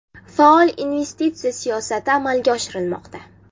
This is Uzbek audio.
Faol investitsiya siyosati amalga oshirilmoqda.